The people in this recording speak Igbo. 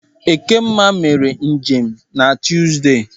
Ekemma emere njem n'Tụzde.